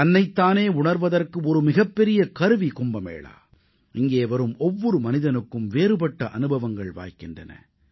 தன்னைத் தானே உணர்வதற்கு ஒரு மிகப்பெரிய கருவி கும்பமேளா இங்கே வரும் ஒவ்வொரு மனிதனுக்கும் வேறுபட்ட அனுபவங்கள் வாய்க்கின்றன